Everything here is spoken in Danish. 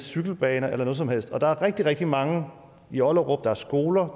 cykelbane eller noget som helst andet der er rigtig rigtig mange i ollerup det er skoler